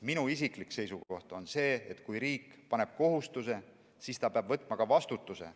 Minu isiklik seisukoht on see, et kui riik paneb kohustuse, siis ta peab võtma vastutuse.